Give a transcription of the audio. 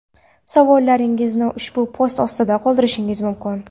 Savollaringizni ushbu post ostida qoldirishingiz mumkin.